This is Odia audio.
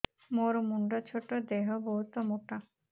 ମୋର ମୁଣ୍ଡ ଛୋଟ ଦେହ ବହୁତ ମୋଟା